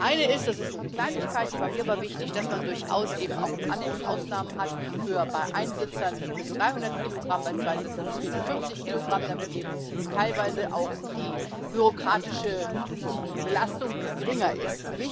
Das eine ist das ist nur eine Kleinigkeit, die war mir aber wichtig dass man durchaus eben auch im Annex Ausnahmen hat bei Einsitzern bis 300 Kilogramm, bei Zweisitzern bis 450 Kilogramm, damit eben teilweise auch die bürokratische Belastung geringer ist.